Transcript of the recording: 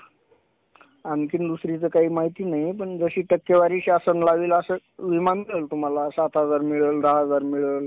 आणखीन दुसरी तर काय माहिती नाही पण जशी टक्केवारी असल विमा सात हजार मिळल दहा हजार मिळल